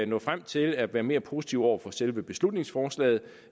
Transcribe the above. nå frem til at være mere positive over for selve beslutningsforslaget